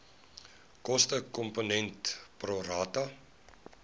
kostekomponent pro rata